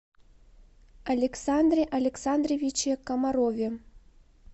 александре александровиче комарове